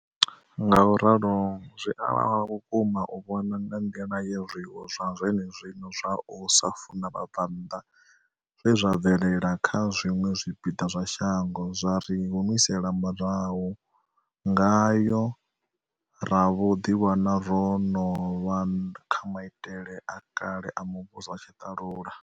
Ngauralo zwi a vhavha vhukuma u vhona nga nḓila ye zwiwo zwa zwenezwino zwa u sa funa vha bva nnḓa zwe zwa bvelela kha zwiṅwe zwipiḓa zwa shango zwa ri humisela murahu ngayo ra vho ḓiwana ro no vha kha maitele a kale a muvhuso wa tshiṱalula.